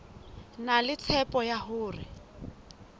na le tshepo ya hore